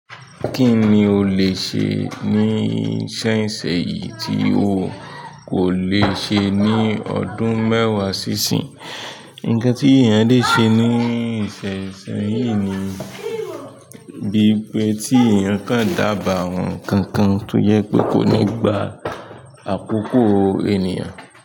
Kí ni o le ṣe ní sẹ́yìn sẹ́yìn tí o kò le ṣe ní ọdún mẹ́wàá sí ìsín? Nǹkan tí èèyàn le ṣe ní ìsin sin yìí ni bí pé tí èèyàn kan dáàbò àwọn nǹkan kan, tó jẹ pé kò ní gbá àkókò ènìyàn.